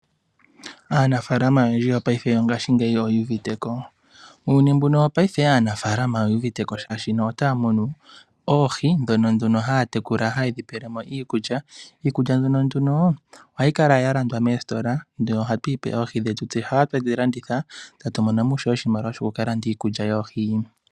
Aanafaalama oyendji yo paife yongashingeyi oyu uviteko. Muyuni woiaife aanafaalama oye li yu uviteko shashi ota ya munu oohi, ndhono nduno ha ya tekula ha ye dhi pelemo iikulya. Iikulya mbyono nduno oha yi kala ya lwandwa moositola, noha tu yi pe oohi dhetu, ndhika eta tu landitha, eta tu monomo ishewe oshimaliwa sho ku ka landa iikulya yoohi.